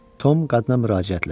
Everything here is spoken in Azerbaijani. Tom qadına müraciətlə: